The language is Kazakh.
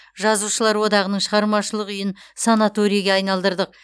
жазушылар одағының шығармашылық үйін санаторийге айналдырдық